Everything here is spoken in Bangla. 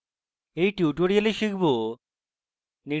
in tutorial আমরা শিখব: